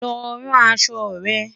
lọ ràn aṣọ rẹ̀